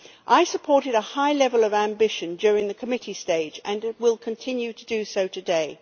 I supported a high level of ambition during the committee stage and will continue to do so today.